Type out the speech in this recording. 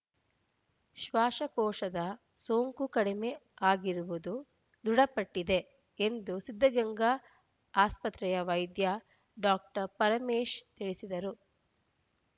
ಶ್ವಾಸಕೋಶದ ಸೋಂಕು ಕಡಿಮೆ ಆಗಿರುವುದು ದೃಢಪಟ್ಟಿದೆ ಎಂದು ಸಿದ್ಧಗಂಗಾ ಆಸ್ಪತ್ರೆಯ ವೈದ್ಯ ಡಾಕ್ಟರ್ ಪರಮೇಶ್‌ ತಿಳಿಸಿದ್ದಾರು